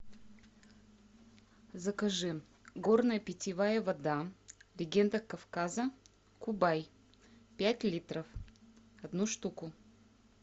закажи горная питьевая вода легенда кавказа кубай пять литров одну штуку